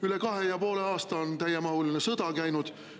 Üle kahe ja poole aasta on täiemahuline sõda käinud.